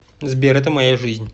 сбер это моя жизнь